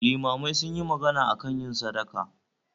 Limamai sunyi magana akan yin sadaka